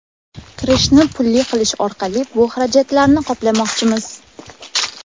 Kirishni pulli qilish orqali bu xarajatlarni qoplamoqchimiz.